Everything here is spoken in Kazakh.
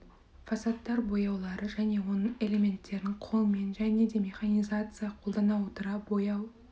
фасадтар бояулары және оның элементтерін қолмен және де механизацияны қолдана отыра бояу